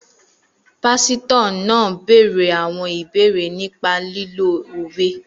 Pásítọ̀ náà béèrè àwọn ìbéèrè nípa lílo òwe